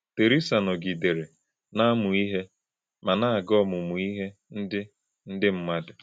Terésa nọ̄gìdèrè̄ na - àmú̄ íhè̄ mà na - àgà̄ ọ̀mụ̀mú̄ íhè̄ ndị́ ndị́ mmádụ̣.